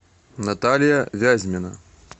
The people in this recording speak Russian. наталья вязьмина